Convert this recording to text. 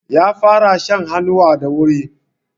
Ƴa fara shan hannuwa da wuri.